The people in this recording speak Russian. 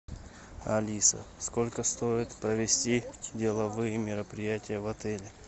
алиса сколько стоит провести деловые мероприятия в отеле